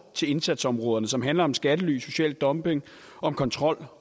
til indsatsområderne som handler om skattely social dumping kontrol